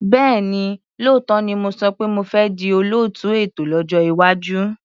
Bẹ́ẹ̀ni, lóòótọ́ ni mo sọ pé mo fẹ́ di olóòtú ètò lọ́jọ́ iwájú.